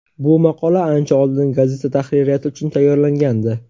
Bu maqola ancha oldin gazeta tahririyati uchun tayyorlangandi.